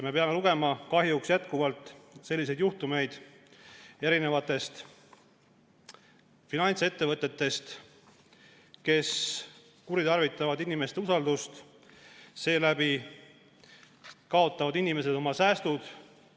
Me peame kahjuks jätkuvalt lugema juhtumitest finantsettevõtetega, kes kuritarvitavad inimeste usaldust, nii et inimesed kaotavad oma säästud.